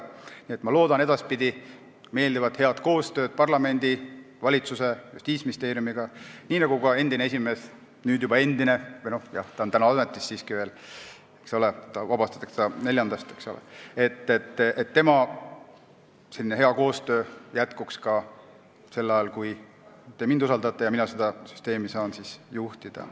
Nii et loodan edaspidi meeldivat head koostööd parlamendi, valitsuse, Justiitsministeeriumiga, nii nagu lootis ka endine esimees – nüüd juba endine, kuigi ta on praegu siiski veel ametis ja vabastatakse 4-ndast –, ning seda, et tema koostöö jätkuks ka sel ajal, kui te usaldate mind ja mina saan seda süsteemi juhtida.